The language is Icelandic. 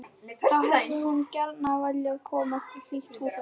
Þá hefði hún gjarna viljað komast í hlýtt húsaskjól.